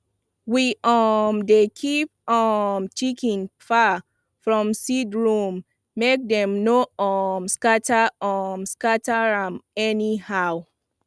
we um dey keep um chicken far from seed room make dem no um scatter um scatter am anyhow